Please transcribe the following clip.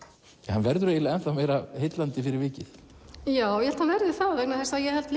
hann verður enn meira heillandi fyrir vikið ég held hann verði það vegna þess að ég held